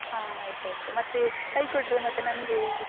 ಹ ಆಯ್ತಾಯ್ತು, ಮತ್ತೆ ಕೈಕೊಟ್ರೆ ಮತ್ತೆ ನಮ್ಗೆ.